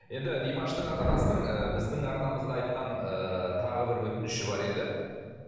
енді димаштың ата анасының ы біздің арнамызға айтқан ыыы тағы бір өтініші бар еді